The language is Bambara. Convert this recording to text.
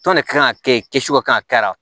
Tɔn de kan ka kɛ kɛsu ka kan ka kɛ a